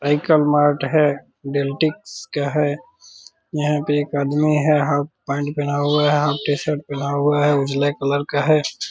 Vehicle mart हैं Dentix का है यहाँ पे एक आदमी है हाफ पैंट पहना हुआ है हाफ टीशर्ट पहना हुआ है उजला कलर का है ।